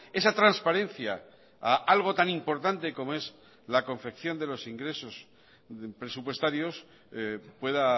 esa transparencia a algo tan importante como es la confección de los ingresos presupuestarios pueda